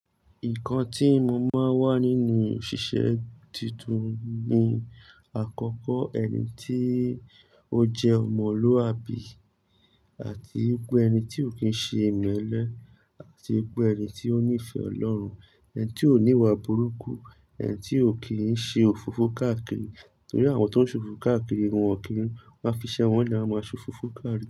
Nǹkan tí mo máa ń wà nínú òṣìṣẹ́ tuntun ni àkọ́kọ́ ẹni tí ó jẹ́ ọmọlúwàbí àti pé ẹni tí ò kí ń ṣe ìmẹ́lẹ́ àti pé ẹni tí ó nífẹ̀ẹ́ Ọlọ́run, ẹni tí ò ní ìwà burúkú, ẹni tí ò kì í ṣe òfófó káàkiri. Nítorí àwọn tó ń ṣòfófó káàkiri, wọn ò kí n wa fiṣẹ́, wọ́n le won a máa ṣòfófó káàkiri.